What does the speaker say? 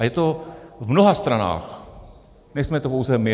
A je to v mnoha stranách, nejsme to pouze my.